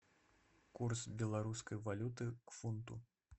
курс белорусской валюты к фунту